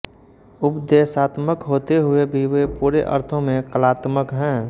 उपदेशात्मक होते हुए भी वे पूरे अर्थों में कलात्मक है